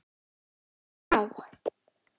Bára blá!